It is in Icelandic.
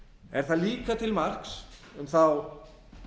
er það líka til marks um þá